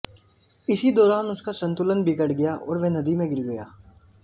इसी दौरान उसका संतुलन बिगड़ गया और वह नदी में गिर गया